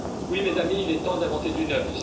Oui mes amis, il est temps d'inventer du neuf!